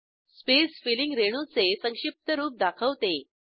space filling रेणूचे संक्षिप्त रूप दाखवते